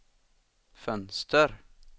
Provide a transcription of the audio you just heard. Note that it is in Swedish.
fönster